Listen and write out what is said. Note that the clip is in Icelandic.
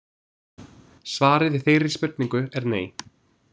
Svarið við þeirri spurningu er nei.